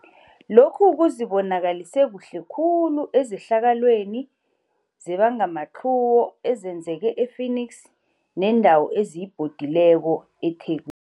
Lokhu kuzibonakalise kuhle khulu ezehlakalweni zebangamatlhuwo ezenzeke e-Phoenix neendawo eziyibhodileko eThekwi